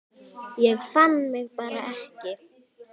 Ég fann mig bara ekki.